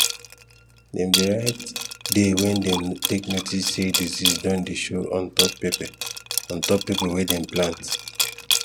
dem dey write day wen dem take notice say disease don dey show on top pepper on top pepper wehn dem plant